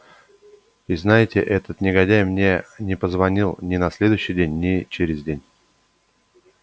и знаете этот негодяй мне не позвонил ни на следующий день ни через день